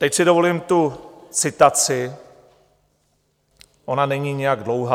Teď si dovolím tu citaci, ona není nijak dlouhá: